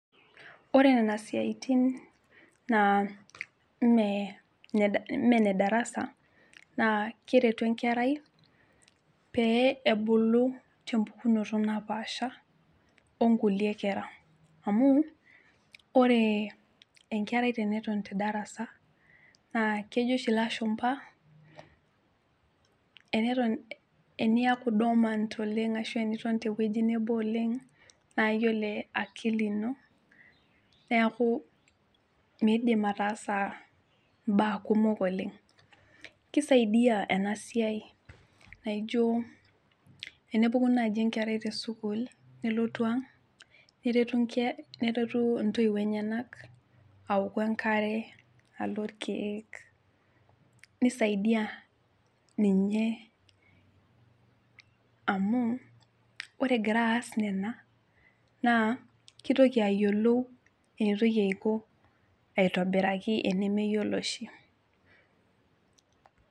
Ore nena siaitin naa ime ime ine darasa naa keretu enkerai pee ebulu tempukunoto napasha onkulie kera amu ore enkerai teneton te darasa naa kejo oshi ilashumpa eneton eniaku dormant oleng ashu teniton tewueji nebo oleng naa yiolo akili ino niaku miidim ataasa imbaa kumok oleng kisaidiyia ena siai aijo tenepuku naaji enkera te sukuul nelotu ang neretu inke neretu intoiwuo enyenak aoku enkare alo irkeek nisaidia ninye amu ore egira aas nena naa kitoki ayiolou enitoki aiko aitobiraki enemeyiolo oshi.